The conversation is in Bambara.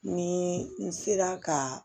Ni n sera ka